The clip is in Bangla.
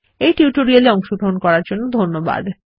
এই টিউটোরিয়াল এ অংশগ্রহন করার জন্য ধন্যবাদ